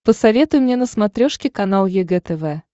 посоветуй мне на смотрешке канал егэ тв